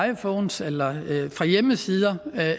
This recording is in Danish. iphones eller fra hjemmesider